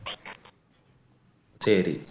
சரி